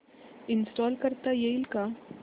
install करता येईल का